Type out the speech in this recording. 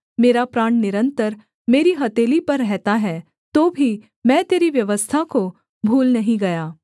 मेरा प्राण निरन्तर मेरी हथेली पर रहता है तो भी मैं तेरी व्यवस्था को भूल नहीं गया